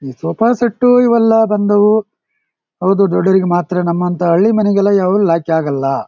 ಈ sofa set ಇವೆಲ್ಲಾ ಬಂದು ಹೌದು ದೊಡ್ಡವರಿಗೆ ಮಾತ್ರ ನಮ್ ಅಂತ ಹಳ್ಳಿ ಮನೆಗೆಲ್ಲಾ ಯಾವು ಲಾಯಕ್ಕಾಗಲ್ಲಾ.